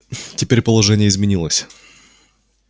теперь положение изменилось